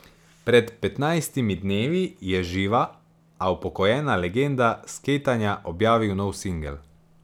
Pred petnajstimi dnevi je živa, a upokojena legenda skejtanja objavil nov singel.